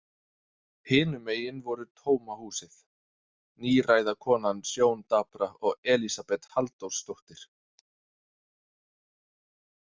Hinum megin voru tóma húsið, níræða konan sjóndapra og Elísabet Halldórsdóttir.